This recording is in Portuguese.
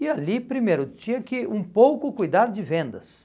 E ali, primeiro, tinha que um pouco cuidar de vendas.